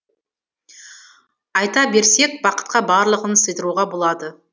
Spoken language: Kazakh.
айта берсек бақытқа барлығын сыйдыруға болады